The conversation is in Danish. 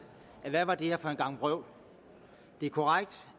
hvad var det her for en gang vrøvl det er korrekt